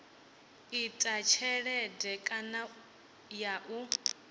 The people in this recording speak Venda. ita tshelede kana ya u